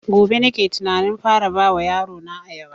Gobe nake tunanin fara ba wa yaro na ayaba